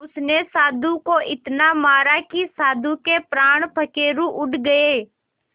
उसने साधु को इतना मारा कि साधु के प्राण पखेरु उड़ गए